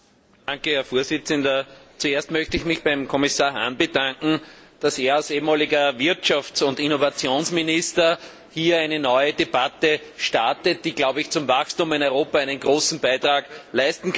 Herr Präsident! Zuerst möchte ich mich beim Kommissar Hahn bedanken, dass er als ehemaliger Wirtschafts und Innovationsminister hier eine neue Debatte startet, die zum Wachstum in Europa einen großen Beitrag leisten kann.